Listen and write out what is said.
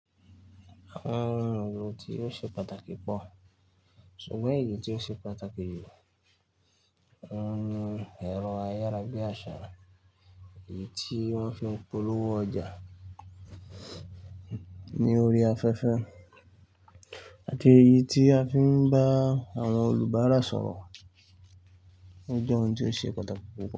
Àwọn ohun èlò tí ó ṣe pàtàkì pọ̀, ṣùgbọ́n èyí tí ó ṣe pàtàkì jù ó ń ni ẹ̀rọ ayára bíi àṣàrà, èyí tí wọ́n fi ń polówó ọjà ní orí afẹ́fẹ́ àti èyí tí a fi ń bá àwọn olùbárà sọ̀rọ̀. Ó jẹ́ ohun tí ó ṣe pàtàkì púpọ̀